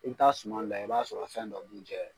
I bi taa suman layɛ i b'a sɔrɔ a fɛn dɔ b'u jɛ